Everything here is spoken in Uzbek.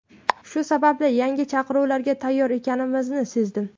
Shu sababli yangi chaqiruvlarga tayyor ekanimni sezdim.